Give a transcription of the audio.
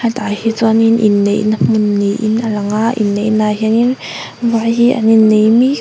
hetah hi chuanin inneihna hmun niin a lang a inneihna ah hianin vai hi an innei mek--